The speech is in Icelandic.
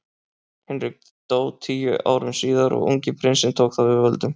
Hinrik dó tíu árum síðar og ungi prinsinn tók þá við völdum.